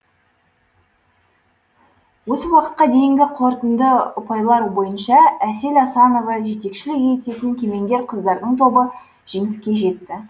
осы уақытқа дейінгі қорытынды ұпайлар бойынша әсел асанова жетекшілік ететін кемеңгер қыздардың тобы жеңіске жетті